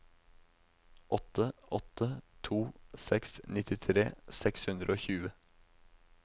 åtte åtte to seks nittitre seks hundre og tjue